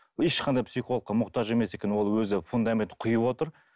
ешқандай психологқа мұқтаж емес екен ол өзі фундаментін құйып отыр